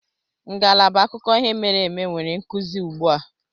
Ngalaba akụkọ ihe mere eme nwere nkuzi ugbu a.